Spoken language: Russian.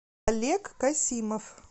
олег касимов